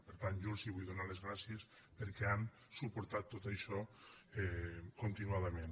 per tant jo els vull donar les gràcies perquè han suportat tot això continuadament